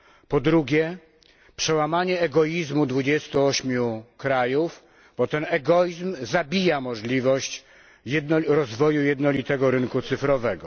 Po drugie, przełamanie egoizmu 28 krajów, bo ten egoizm zabija możliwość rozwoju jednolitego rynku cyfrowego.